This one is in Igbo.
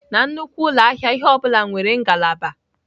Na nnukwu ụlọ ahịa, ihe ọ bụla nwere ngalaba.